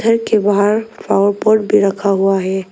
घर के बाहर फ्लावर पॉट भी रखा हुआ है।